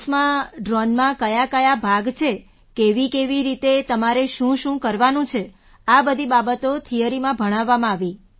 ક્લાસમાં ડ્રૉનમાં કયાકયા ભાગ છે કેવીકેવી રીતે તમારે શુંશું કરવાનું છે આ બધી બાબતો થિયરીમાં ભણાવવામાં આવી